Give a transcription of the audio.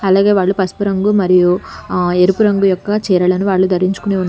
అలాగే వాళ్ళు పసుపు రంగు మరియు ఆ ఎరుపు రంగు యొక్క చీరలను వాళ్ళు ధరించుకొని--